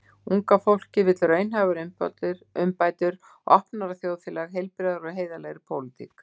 Unga fólkið vill raunhæfar umbætur, opnara þjóðfélag, heilbrigðari og heiðarlegri pólitík.